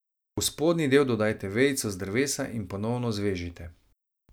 V spodnji del dodajte vejico z drevesa in ponovno zvežite.